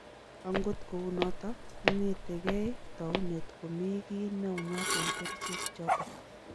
Angot kou noto, kong'etegei taunet ko mi gii neunyat eng kericheek chotok